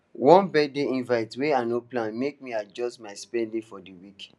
one birthday invite wey i no plan make me adjust my spending for the week